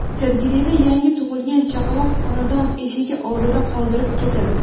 Sergelida yangi tug‘ilgan chaqaloq xonadon eshigi oldida qoldirib ketildi.